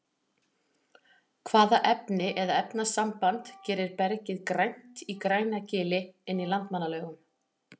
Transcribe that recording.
hvaða efni eða efnasamband gerir bergið grænt í grænagili inn í landmannalaugum